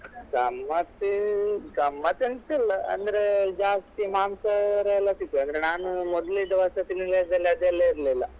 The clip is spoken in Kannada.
ಗಮ್ಮತ್ ಗಮ್ಮತ್ ಎಂತಿಲ್ಲ ಅಂದ್ರೆ ಜಾಸ್ತಿ ಮಾಂಸಹಾರಿ ಎಲ್ಲ ಸಿಗ್ತದೆ ಆದ್ರೆ ನಾನು ಮೊದ್ಲಿದ್ ವಸತಿ ನಿಲಯದಲ್ಲಿ ಅದೆಲ್ಲ ಇರ್ಲಿಲ್ಲ.